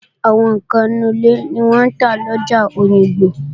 Àwọn ǹkan inú ilé ni wọ́n ń tà lọjà Òyìngbò